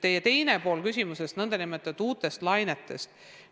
Teine pool teie küsimusest oli uute lainete kohta.